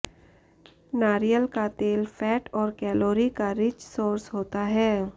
नारियल का तेल फैट और कैलोरी का रिच सोर्स होता है